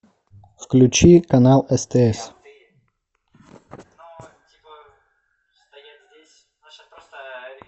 включи канал стс